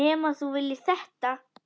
Nema þú viljir þetta?